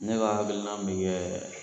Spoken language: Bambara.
Ne b'a hakilina min kɛ